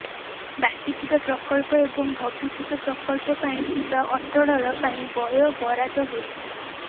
ବାକି ଥିବା ପ୍ରକଳ୍ପ ଏବଂ ଭବିଷ୍ୟତ ପ୍ରକଳ୍ପ ପାଇଁ ଥିବା ଅଟଳଳ ପାଇଁ ବୟ ବରାଦ ହୋଇଛି